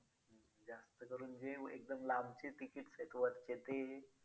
जास्त करून जे एकदम लांबचे tickets आहेत वरचे ते